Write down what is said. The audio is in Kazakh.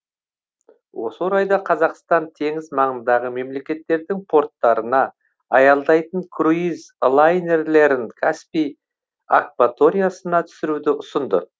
осы орайда қазақстан теңіз маңындағы мемлекеттердің порттарына аялдайтын круиз лайнерлерін каспий акваториясына түсіруді ұсынды